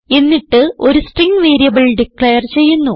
എന്നിട്ട് ഒരു string variable declare ചെയ്യുന്നു